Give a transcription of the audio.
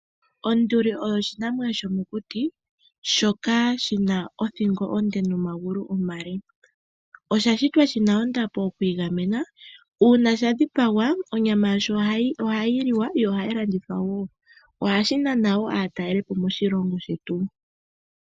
Onduli oyo oshinamwanyo shomokuti shoka shina othingo onde nomagulu omale. Osha shitwa shina ondapo, ku igamena. Uuna sha dhipagwa, onyama yasho ohayi liwa, yo ohayi landithwa wo. Ohashi nana wo aataleli po moshilongo shetu.